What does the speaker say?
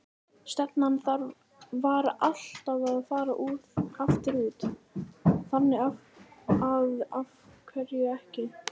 Stefnan var alltaf að fara aftur út, þannig að af hverju ekki?